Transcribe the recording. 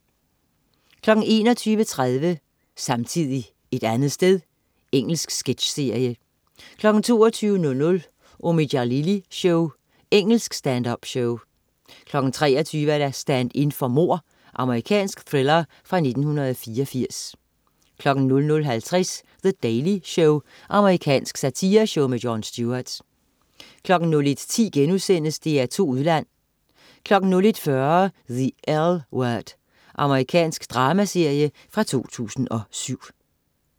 21.30 Samtidig et andet sted. Engelsk sketchserie 22.00 Omid Djalili Show. Engelsk stand-up-show 23.00 Stand-in for mord. Amerikansk thriller fra 1984 00.50 The Daily Show. Amerikansk satireshow. Jon Stewart 01.10 DR2 Udland* 01.40 The L Word. Amerikansk dramaserie fra 2007